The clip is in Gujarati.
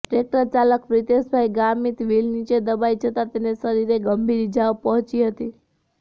ટ્રેકટર ચાલક પ્રિતેશભાઇ ગામીત વિલ નીચે દબાઈ જતા તેને શરીરે ગંભીર ઈજાઓ પહોચી હતી